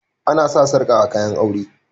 Ana sa sarƙa a kayan aure